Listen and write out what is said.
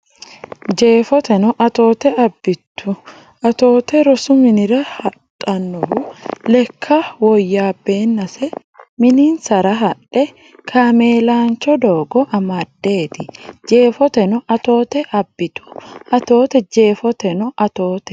Jeefoteno Atoote abbitu Atoote rosu minira hadhannohu lekka woyyaabbeennase mininsara haadhe kaameelaancho doogo amaddeeti Jeefoteno Atoote abbitu Atoote Jeefoteno Atoote.